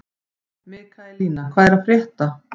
Mikaelína, hvað er að frétta?